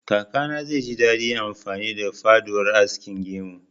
Kakana zai ji daɗin amfani da faudar askin gemu